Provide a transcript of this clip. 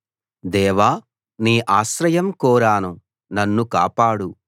దేవా నీ ఆశ్రయం కోరాను నన్ను కాపాడు